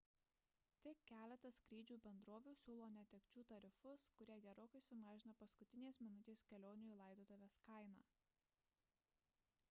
tik keletas skrydžių bendrovių siūlo netekčių tarifus kurie gerokai sumažina paskutinės minutės kelionių į laidotuves kainą